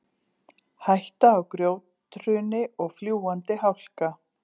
Hætta á grjóthruni og fljúgandi hálka